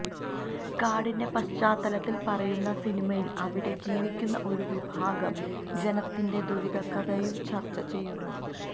കാടിന്റെ പശ്ചാത്തലത്തില് പറയുന്ന സിനിമയില് അവിടെ ജീവിക്കുന്ന ഒരു വിഭാഗം ജനത്തിന്റെ ദുരിന്തകഥയും ചര്ച്ചചെയ്യുന്നു